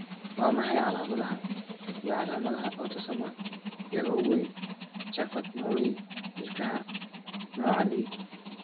Waa maxay calamadaha iyo calaamadaha Autosomal ee ugu weyn Charcot Marie Ilkaha nooca D?